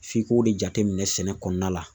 F'i k'o de jateminɛ sɛnɛ kɔnɔna la.